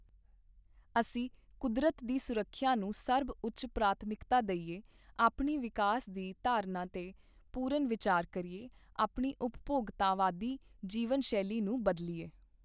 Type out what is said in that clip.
ਅਸੀਂ ਕੁਦਰਤ ਦੀ ਸੁਰੱਖਿਆ ਨੂੰ ਸਰਬਉੱਚ ਪ੍ਰਾਥਮਿਕਤਾ ਦੇਈਏ, ਆਪਣੀ ਵਿਕਾਸ ਦੀ ਧਾਰਨਾ ਤੇ ਪੂਰਨ ਵਿਚਾਰ ਕਰੀਏ, ਆਪਣੀ ਉਪਭੋਗਤਾਵਾਦੀ ਜੀਵਨ ਸ਼ੈਲੀ ਨੂੰ ਬਦਲੀਏ।